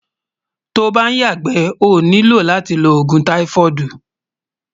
tó ǹ bá yaàgbé, ó nílò látí ló ògún tífóídí